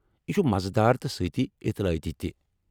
یہ چُھ مزٕدار تہٕ سۭتی اطلاعٲتی تہِ۔